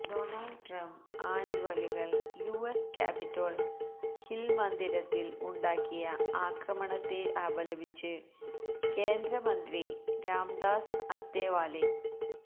Donald Trump അനുകൂലികൾ US Capitol Hill മന്ദിരത്തിൽ ഉണ്ടാക്കിയ ആക്രമണത്തെ അപലപിച്ച് കേന്ദ്രമന്ത്രി രാംദാസ് അത്തേവാലെ